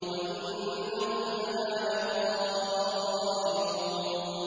وَإِنَّهُمْ لَنَا لَغَائِظُونَ